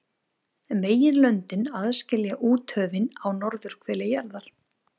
Meginlöndin aðskilja úthöfin á norðurhveli jarðar.